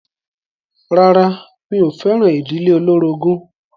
Rárá mi ò fẹ́ràn ìdílé olórogún.